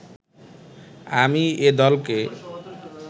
আমি এ দলকে